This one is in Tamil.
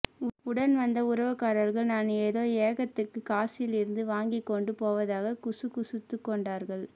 உடன் வந்த உறவுக்காரர்கள் நான் ஏதோ ஏகத்துக்கு காசியிலிருந்து வாங்கிக்கொண்டு போவதாக குசுகுசுத்துக்கொண்டார்கள்